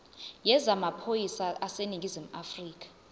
yezamaphoyisa aseningizimu afrika